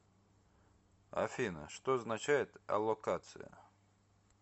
афина что означает аллокация